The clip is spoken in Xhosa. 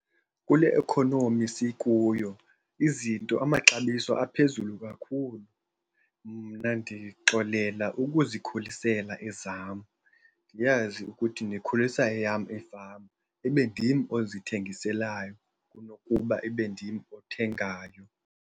Kule ikhonomi sikuyo izinto amaxabiso aphezulu kakhulu, mna ndixolela ukuzikhulisela ezam. Ndiyazi ukuthi ndikhulisa eyam ifama, ibe ndim ozithengiselayo kunokuba ibe ndim othengayo.